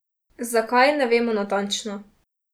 Zakaj, ne vemo natančno.